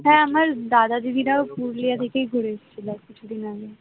হ্যাঁ আমার দাদা দিদিরা ঘুরলে এদিকে ঘুরে এসেছিল কিছুদিন আগে